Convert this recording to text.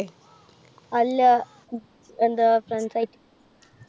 അല്ല എന്താ friends ആയിട്ട്.